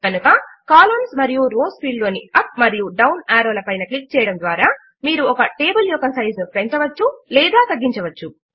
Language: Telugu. కనుక కాలమ్స్ మరియు రోస్ ఫీల్డ్ లోని అప్ మరియు డౌన్ యారో ల పైన క్లిక్ చేయడము ద్వారా మీరు ఒక టేబుల్ యొక్క సైజ్ ను పెంచవచ్చు లేదా తగ్గించవచ్చు